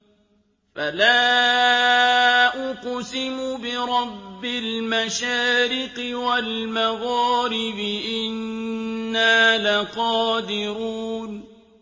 فَلَا أُقْسِمُ بِرَبِّ الْمَشَارِقِ وَالْمَغَارِبِ إِنَّا لَقَادِرُونَ